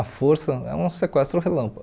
A força é um sequestro relâmpago.